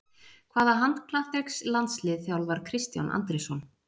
Hvaða handknattleiks-landslið þjálfar Kristján Andrésson?